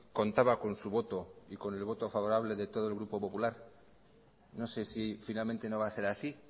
contaba con su voto y con el voto favorable de todo el grupo popular no sé si finalmente no va a ser así